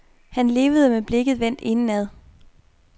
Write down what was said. Han levede med blikket vendt indad.